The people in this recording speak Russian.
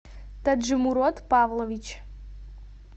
таджимурод павлович